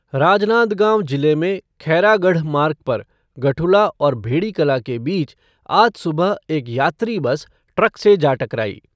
राजनांदगांव जिले में खैरागढ़ मार्ग पर गठुला और भेड़ीकला के बीच आज सुबह एक यात्री बस ट्रक से जा टकराई।